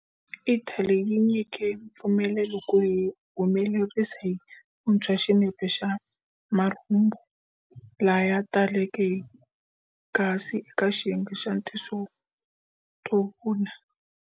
Ithali yi nyike mpfumelelo ku humelerisa hi vunthshwa xinepe xa marhumbu laya taleke hi gasi eka xiyenge xa tinso to vuna.